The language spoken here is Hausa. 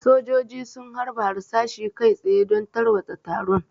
Sojoji sun harba harsashi kai tsaye don tarwatsa taron.